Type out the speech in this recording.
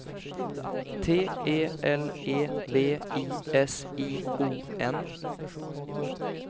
T E L E V I S I O N